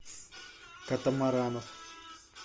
катамаранов